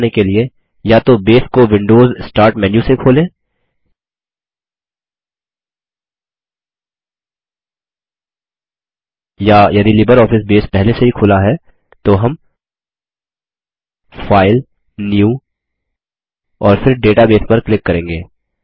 यह करने के लिए या तो बेस को विंडोज स्टार्ट मेन्यू से खोलें या यदि लिबरऑफिस बेस पहले से ही खुला है तो हम फाइल न्यू और फिर डेटाबेस पर क्लिक करेंगे